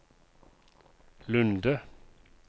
Lunde